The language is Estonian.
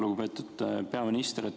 Lugupeetud peaminister!